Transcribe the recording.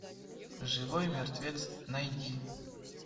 живой мертвец найди